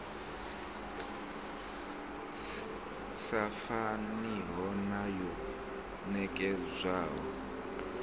sa faniho na yo nekedzwaho